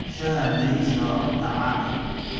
Shaaha bariiska waa cunto caan ah.